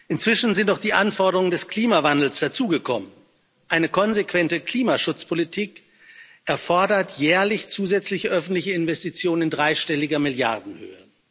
Inzwischen sind auch die Anforderungen des Klimawandels dazugekommen eine konsequente Klimaschutzpolitik erfordert jährlich zusätzliche öffentliche Investitionen in dreistelliger Milliardenhöhe.